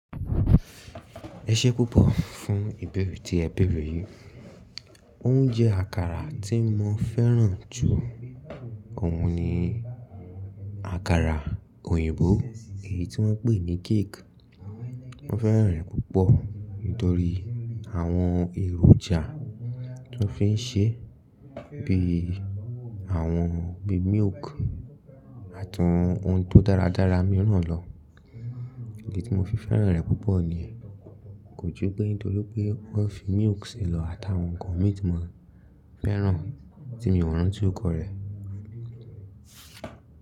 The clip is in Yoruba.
Ẹṣẹ púpọ̀ fún ìbẹre tí ẹ bẹ̀rẹ̀ yìí. Òún jẹ́ àkàrà tí mo fẹ́ràn jù. Òún ni àkàrà òyìnbó èyí tí wọ́n ń pè ní cake. Mo fẹ́ràn rẹ̀ púpọ̀ nítorí àwọn èròjà tó fi ń ṣe, bí i àwọn bí i milk àtàwọn ohun tó dáradára míràn lọ. Èyí tí mo fi fẹ́ràn rẹ̀ púpọ̀ ni, kò ju pé nítorí pé wọ́n fi milk si lọ àtàwọn nǹkan mi tí mo fẹ́ràn tí mio rántí óruko rẹ̀